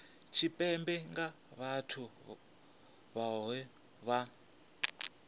tshipembe nga vhathu vhohe vha